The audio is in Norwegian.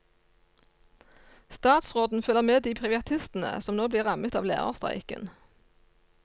Statsråden føler med de privatistene som nå blir rammet av lærerstreiken.